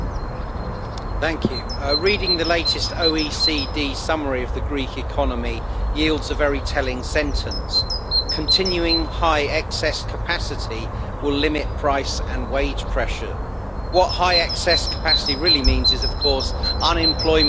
Mr President, reading the latest OECD summary of the Greek economy yields a very telling sentence Continuing high excess capacity will limit price and wage pressure'. What high excess capacity' really means is unemployment at